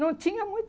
Não tinha